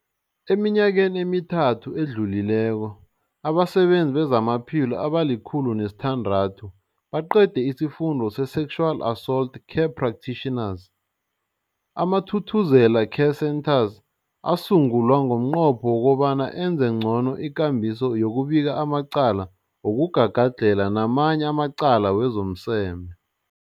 Eminyakeni emithathu edluleko, abasebenzi bezamaphilo abali-106 baqede isiFundo se-Sexual Assault Care Practitioners. AmaThuthuzela Care Centres asungulwa ngomnqopho wokobana enze ngcono ikambiso yokubika amacala wokugagadlhela namanye amacala wezomseme.